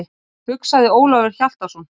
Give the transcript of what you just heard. hugsaði Ólafur Hjaltason.